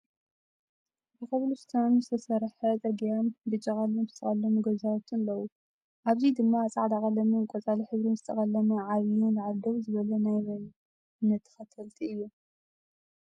ብኮብልስቶነ ዝተሰረሐ ፅርግያን ብጫ ቀለም ዝተቀለሙ ገዛውትን ኣለው። ኣብዙ ድማ ፃዕዳ ቀለምን ቆፃል ሕብርን ዝተቀለመ ዓብይ ንላዕሊ ደው ዝበለ ናይ መን እምነት ተከተልቲ እዩ?